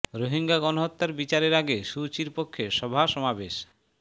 রোহিঙ্গা গণহত্যার বিচারের আগে সু চির পক্ষে সভা সমাবেশ